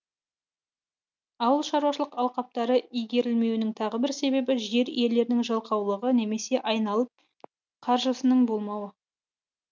ауылшаруашылық алқаптары игерілмеуінің тағы бір себебі жер иелерінің жалқаулығы немесе айналым қаржысының болмауы